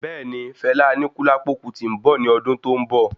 Bẹẹni, Fela Anikulapo Kuti nbọ ní ọdún tó n bọ